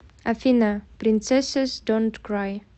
афина принцессэс донт край